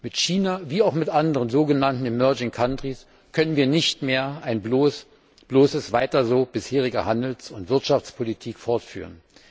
Mit China wie auch mit anderen sogenannten Schwellenländern können wir nicht mehr ein bloßes weiter so bisheriger Handels und Wirtschaftspolitik fortführen.